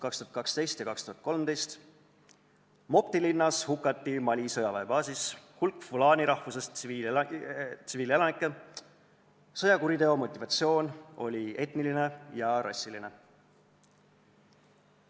2012 ja 2013: Mopti linnas hukati Mali sõjaväebaasis hulk fula rahvusest tsiviilelanikke, sõjakuriteo motivatsioon oli etniline ja rassiline.